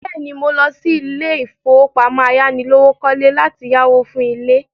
Bẹ́ẹ̀ ni, mò lọ sí ilé-ìfowópamọ́ ayánilówókọ́lé láti yáwó fún ilé.